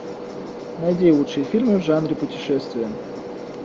найди лучшие фильмы в жанре путешествия